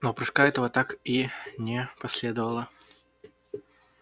но прыжка этого так и не последовало